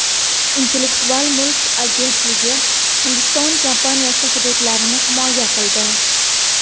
Intellektual mulk agentligi Hindiston kompaniyasi huquqlarini himoya qildi.